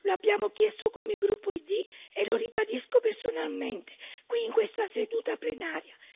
Lo abbiamo chiesto come gruppo ID e lo ribadisco personalmente qui in questa seduta plenaria.